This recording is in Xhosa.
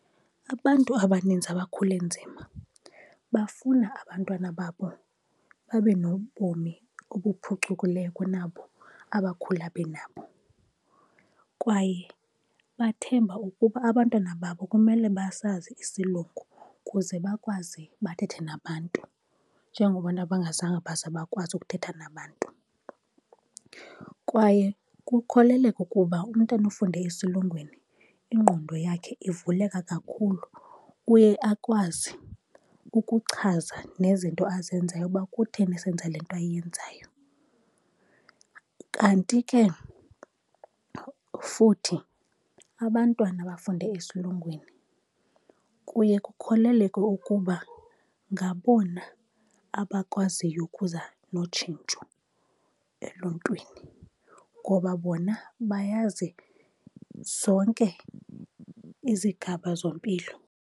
Abantu abaninzi abakhule nzima bafuna abantwana babo babe nobomi obuphucukileyo kunabo abakhula benabo. Kwaye bathemba ukuba abantwana babo kumele basazi isilungu ukuze bakwazi bathethe nabantu, njengoba bona bangazange baze bakwazi ukuthetha nabantu. Kwaye kukholeleka ukuba umntana ofunde esilungwini ingqondo yakhe ivuleka kakhulu, uye akwazi ukuchaza nezinto azenzayo ukuba kutheni esenza le nto ayenzayo. Kanti ke futhi abantwana abafunde esilungwini kuye kukholeleke ukuba ngabona abakwaziyo ukuza notshintsho eluntwini ngoba bona bayazi zonke izigaba zompilo.